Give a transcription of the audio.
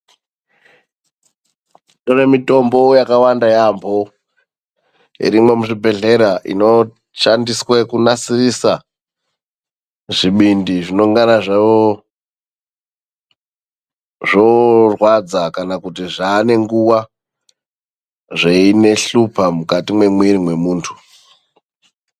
Kune mitombo yakawanda yaambo irimwo muzvibhedhlera inoshandiswe kunasirisa zvibindi zvinonga zvoorwadza kana kuti zvaane nguva zveihlupa mukati memwiri mwemuntu .